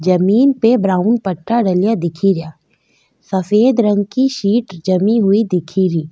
जमीं पे ब्रॉउन पत्थर डला दिख रा सफ़ेद रंग की सीट जमी हुईं दिख री।